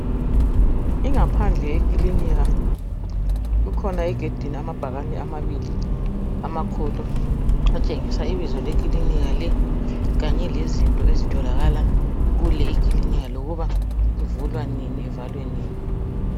Ingaphandle yekilinika kukhona egedini amabhakane amabili amakhulu atshengisa ibizo lekilinika le kanye lezinto ezitholakala kule ikilinika lokuba ivulwa nini ivalwe nini.